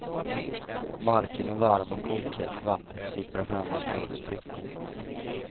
Marken är varm och kokhett vatten sipprar fram ur små sprickor.